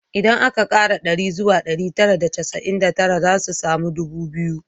Idan aka kara ɗaya zuwa ɗari tara da casa’in da tara, za mu samu ɗubu biyu